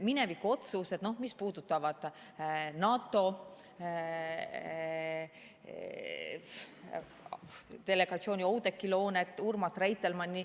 Minevikuotsused, mis puudutavad NATO delegatsiooni, Oudekki Loonet, Urmas Reitelmanni ...